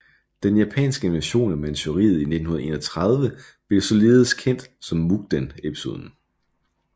Den japanske invasion af Manchuriet i 1931 blev således kendt som Mukden Episoden